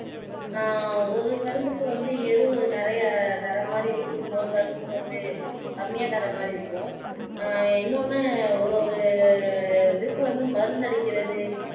ஆஹ் ஒரு கரும்புக்கு வந்து நிறைய தரமாதி இருக்கும் இன்னொரு கரும்புக்கு வந்து கம்மியா தரமா இருக்கும் இன்னொன்னு ஒரு ஒரு இதுக்கு வந்து மருந்து அடிக்கிறது